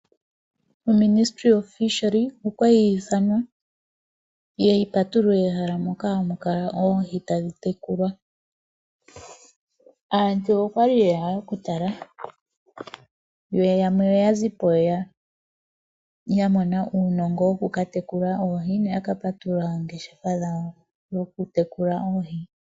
Uuministeli woohi okwali wa ithanwa yi ye yi patulule mehala moka hamu kala oohi tadhi tekulwa. Aantu okwali yeya okutala, yo yamwe oya zipo ya mona uunongo woku ka tekula oohi, noya ka patulula oongeshefa dhawo dhokutekula oohi.